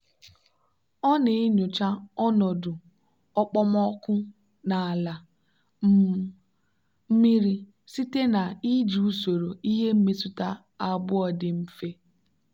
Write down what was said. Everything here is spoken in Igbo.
ọ na-enyocha ọnọdụ okpomọkụ na ala um mmiri site na iji usoro ihe mmetụta abụọ dị mfe.